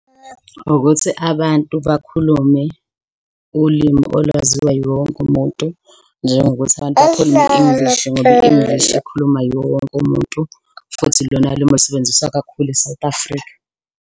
Ukuthi abantu bakhulume ulimi olwaziwa yiwowonke umuntu, njengokuthi abantu bakhulume i-English ngoba i-English ikhulumwa iwowonke umuntu. Futhi ilona limi olusebenziswa kakhulu e-South Africa.